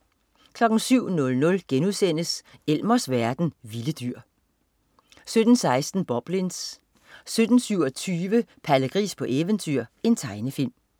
07.00 Elmers verden. Vilde dyr* 07.16 Boblins 07.27 Palle Gris på eventyr. Tegnefilm